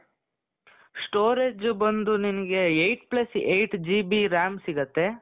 storage ಬಂದ್ಬಿಟ್ಟು ನಿಮಗೆ eight plus eight GB RAM ಸಿಗತ್ತೆ.